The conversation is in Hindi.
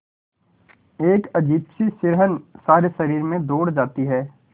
एक अजीब सी सिहरन सारे शरीर में दौड़ जाती है